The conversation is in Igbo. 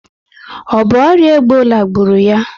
O bu oria Ebola gburu ya?